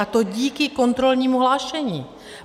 A to díky kontrolnímu hlášení.